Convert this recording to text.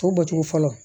To bɔcogo fɔlɔ